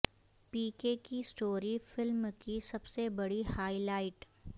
پی کے کی story film کی سب سے بڑی ہائی لائٹ